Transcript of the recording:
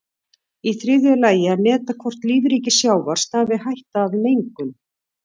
Í þriðja lagi að meta hvort lífríki sjávar stafi hætta af mengun.